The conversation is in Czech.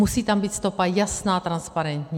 Musí tam být stopa jasná, transparentní.